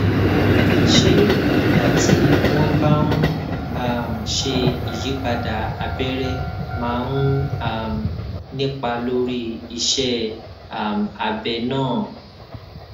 ṣé ìgbà tí wón bá ń um ṣe ìyípadà abẹrẹ máa ń um nípa lórí iṣé um abẹ náà